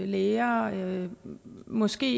læger måske